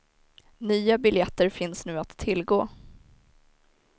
Nya biljetter finns nu att tillgå.